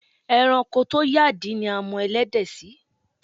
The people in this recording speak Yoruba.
E̩ranko tó yàdí ni a mo̩ e̩lé̩dè̩ sí.